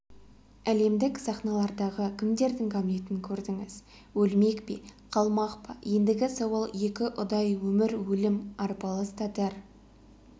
әлемдік сахналардағы кімдердің гамлетін көрдіңіз өлмек пе қалмақ па ендігі сауал екіұдай өмір өлім арпалыс татар